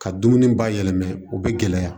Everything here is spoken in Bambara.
Ka dumuni bayɛlɛma u bɛ gɛlɛya